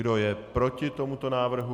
Kdo je proti tomuto návrhu?